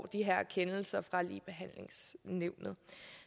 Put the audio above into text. de her kendelser fra ligebehandlingsnævnet